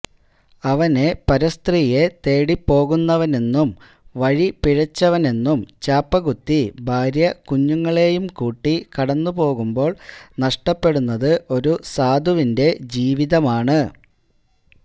അവനെ പരസ്ത്രീയെ തേടിപോകുന്നവനെന്നും വഴിപിഴച്ചവനെന്നും ചാപ്പകുത്തി ഭാര്യ കുഞ്ഞുങ്ങളെയും കൂട്ടി കടന്നുപോകുമ്പോൾ നഷ്ടപ്പെടുന്നത് ഒരു സാധുവിന്റെ ജീവിതമാണ്